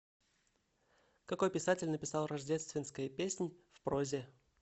какой писатель написал рождественская песнь в прозе